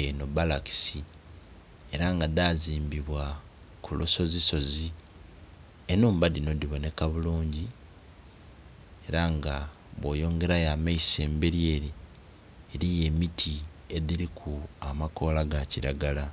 enho balakisi ela nga dhazimbibwa ku lusozisozi. Enhumba dhinho dhibonheka bulungi ela nga bwoyongerayo amaiso embeli ele eliyo emiti edhiliku amakoola ga kilagala